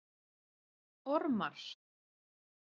Ormar